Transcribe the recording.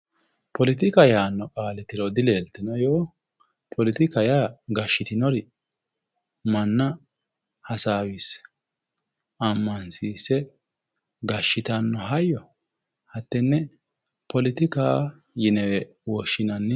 Poletika yaanno qaali tiro dileeltinoe yoo? Poletika yaa gashshitinori manna hasaawisse ammansiisse gashshitanno hayyo hattenne poletika yinewe woshshinanni.